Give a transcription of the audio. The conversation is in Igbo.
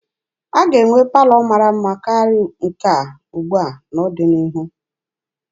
A ga-enwe palọ mara mma karịa nke ugbua n'ọdịnihu.